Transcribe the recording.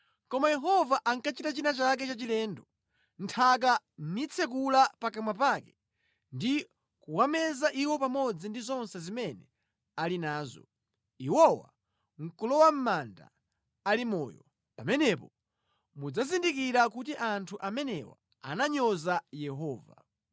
Koma Yehova akachita china chake chachilendo, nthaka nitsekula pakamwa pake ndi kuwameza iwo pamodzi ndi zonse zimene ali nazo, iwowa nʼkulowa mʼmanda ali moyo, pamenepo mudzazindikira kuti anthu amenewa ananyoza Yehova.”